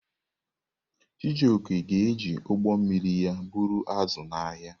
Chijioke ga-eji ụgbọ mmiri ya buru azụ̀ n’ahịa.